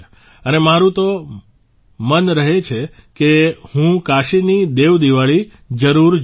અને મારું તો મન રહે છે કે હું કાશીની દેવ દિવાળી જરૂર જોઉ